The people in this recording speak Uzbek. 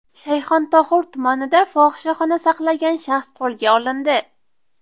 Shayxontohur tumanida fohishaxona saqlagan shaxs qo‘lga olindi.